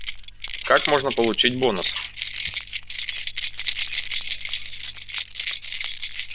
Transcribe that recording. как можно получить бонус